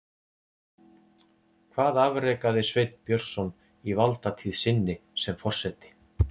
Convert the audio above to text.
Hvað afrekaði Sveinn Björnsson í valdatíð sinni sem forseti?